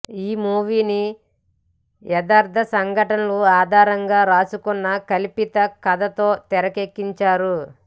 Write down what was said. ఈ మూవీని యదర్థ సంఘటనల ఆధారంగా రాసుకున్న కల్పిత కథతో తెరెక్కించారు